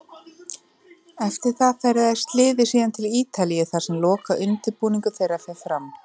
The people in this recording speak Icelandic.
Eftir það ferðast liðið síðan til Ítalíu þar sem lokaundirbúningur þeirra fer fram.